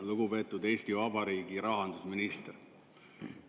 Lugupeetud Eesti Vabariigi rahandusminister!